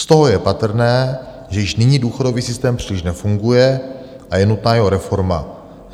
Z toho je patrné, že již nyní důchodový systém příliš nefunguje a je nutná jeho reforma.